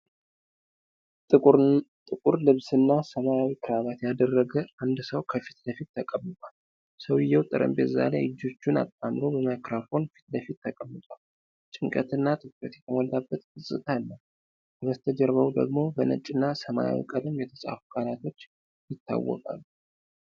ጥቁር ልብስና ሰማያዊ ክራባት ያደረገ አንድ ሰው ከፊት ለፊት ተቀምጧል። ሰውዬው ጠረጴዛ ላይ እጆቹን አጣምሮ በማይክሮፎን ፊት ለፊት ተቀምጧል። ጭንቀትና ትኩረት የተሞላበት ገፅታ አለው። ከበስተጀርባው ደግሞ በነጭ እና ሰማያዊ ቀለም የተፃፉ ቃላቶች ይታወቃሉ።